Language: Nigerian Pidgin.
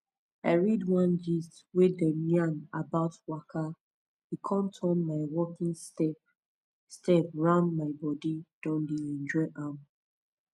i read one gist wey dey yarn about waka e com turn my walking step step round my body don dey enjoy am